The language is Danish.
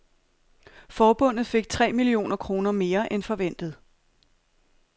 Forbundet fik tre millioner kroner mere end forventet.